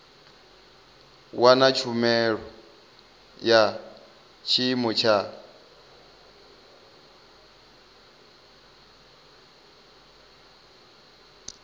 wana tshumelo ya tshiimo tsha